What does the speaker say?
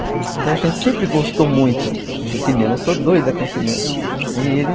Então a gente sempre gostou muito de cinema, eu sou doida com cinema.